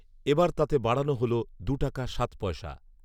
এবার তাতে বাড়ানো হল দু টাকা সাত পয়সা